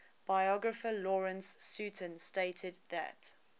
biographer lawrence sutin stated that